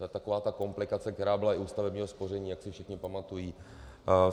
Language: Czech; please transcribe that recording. To je taková ta komplikace, která byla i u stavebního spoření, jak si všichni pamatují.